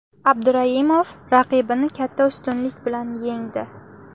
Abduraimov raqibini katta ustunlik bilan yengdi.